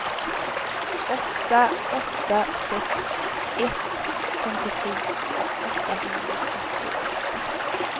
åtta åtta sex ett femtiosju åttahundrafyrtioåtta